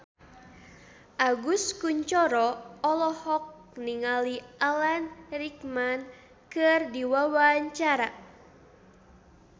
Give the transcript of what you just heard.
Agus Kuncoro olohok ningali Alan Rickman keur diwawancara